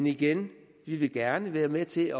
igen vi vil gerne være med til at